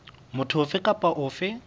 motho ofe kapa ofe eo